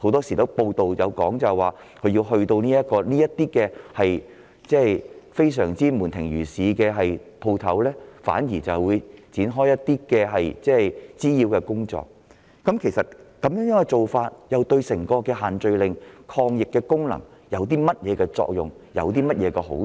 根據報道，有關部門往往會在這些食肆門庭若市時到場展開滋擾性的執法工作，試問這做法對限聚令的抗疫功能有何作用和好處？